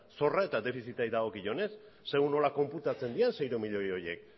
zorra eta defizitari dagokionez segun eta nola konputatzen diren seiehun milioi horiek